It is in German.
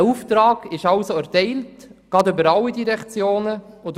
Dieser Auftrag ist also über alle Direktionen hinweg erteilt.